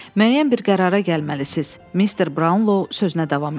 Müəyyən bir qərara gəlməlisiz, Mister Brownlow sözünə davam etdi.